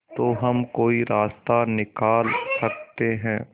तो हम कोई रास्ता निकाल सकते है